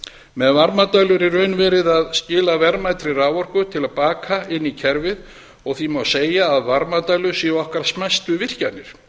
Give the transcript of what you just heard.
með varmadælu er í raun verið að skila verðmætri raforku til baka inn í kerfið og því má segja að varmadælur séu okkar smæstu virkjanir